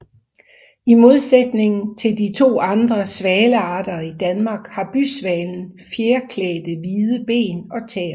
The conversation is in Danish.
I modsætning til de to andre svalearter i Danmark har bysvalen fjerklædte hvide ben og tæer